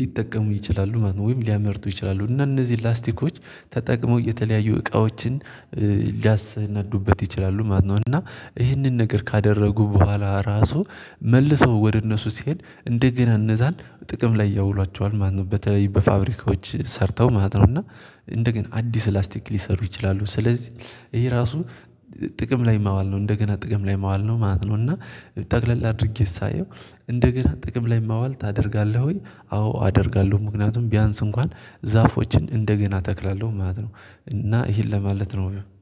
ሊጠቀሙ ይችላሉ ማለት ነው። ወይም ሊያመርቱ ይችላሉ እና እነዚህ ላስቲኮች ተጠቅሞ የተለያዩ እቃዎችን ሊያሰናዱበት ይችላሉ። ማነው እና ይህንን ነገር ካደረጉ በኋላ ራሱ መልሰው ወደ እነሱ ሲሄድ እንደገና እንደዛን ጥቅም ላይ ያውሏቸዋል ማለት ነው። በተለይ በፋብሪካዎች ሰርተው ማለት ነው። እና እንደገና አዲስ ላስቲክ ሊሰሩ ይችላሉ ስለዚህ ይሄ ራሱ ጥቅም ላይ ማዋል ነው። እንደገና ጥቅም ላይ ማዋል ነው ማለት ነው። እና ጠቅለል አድርጌ ሳየው እንደገና ጥቅም ላይ ማዋል ታደርጋለህ? ወይ አዎ አደርጋለሁ። ምክንያቱም ቢያንስ እንኳን ዛፎችን እንደገና ተክላለሁ ማለት ነው። እና ይሄን ለማለት ነው